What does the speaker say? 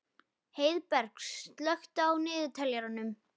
Heiðberg, slökktu á niðurteljaranum.